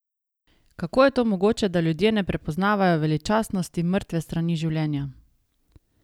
Kako je to mogoče, da ljudje ne prepoznavajo veličastnosti mrtve strani življenja?